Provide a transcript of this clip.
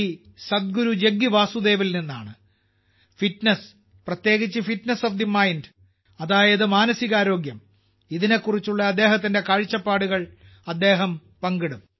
സദ്ഗുരു ജഗ്ഗി വാസുദേവിൽ നിന്നാണ് ഫിറ്റ്നസ് പ്രത്യേകിച്ച് ഫിറ്റ്നസ് ഓഫ് ദി മൈൻഡ് അതായത് മാനസികാരോഗ്യം ഇതിനെക്കുറിച്ചുള്ള അദ്ദേഹത്തിന്റെ കാഴ്ചപ്പാടുകൾ അദ്ദേഹം പങ്കിടും